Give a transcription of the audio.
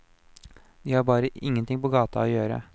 De har bare ingenting på gata å gjøre.